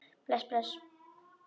Bless, bless.